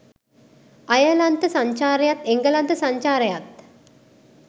අයර්ලන්ත සංචාරයත් එංගලන්ත සංචාරයත්